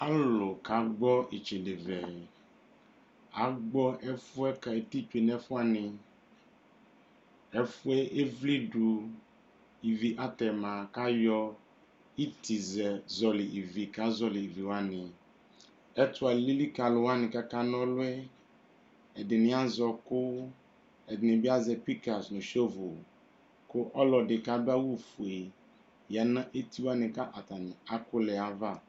Alʋlʋ kagbɔ itsedevɛ agbɔ ɛfʋɛ ka eti tsue nʋ ɛfʋ wani ɛfʋɛ evledu ivi atɛma kʋ ayɔ itizɛ kʋ zɔli iviwani ɛtʋ alili kʋ alʋwani kʋ akana ɔlʋ yɛ ɛdini azɛ ɔkʋ ɛdini bi azɛ kikaz nʋ shɔvʋ kʋ ɔlɔdi kʋ adʋ awʋfue yanʋ etiwani kʋ atani akʋlɛ yɛ ava